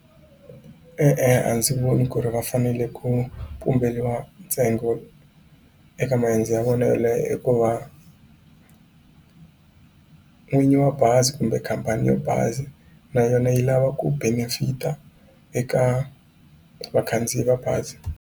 E-e a ndzi voni ku ri va fanele ku pumberiwa ntsengo eka maendzo ya vona i ku va n'winyi wa bazi kumbe khampani ya bazi na yona yi lava ku benefit-a eka vakhandziyi va bazi.